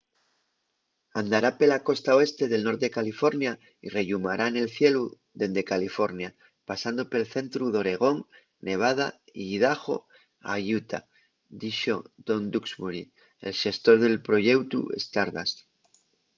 andará pela costa oeste del norte de california y rellumará nel cielu dende california pasando pel centru d'oregón nevada y idaho a utah” dixo tom duxbury el xestor del proyeutu stardust